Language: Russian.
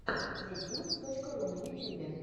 зэтьюнс точка ру на ютюбе